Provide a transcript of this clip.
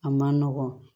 A man nɔgɔn